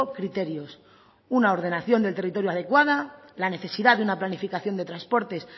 criterios una ordenación del territorio adecuada la necesidad de una planificación de transportes